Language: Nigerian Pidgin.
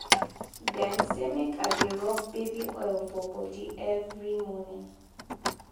dem say make i dey rob baby oil for bodi every morning.